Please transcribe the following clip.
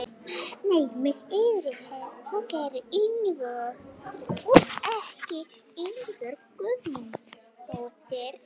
Nei mig yfirgefur þú ekki Ísbjörg Guðmundsdóttir.